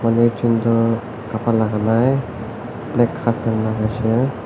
manu ekjont tu kapara lagai nai black half pant lagai se.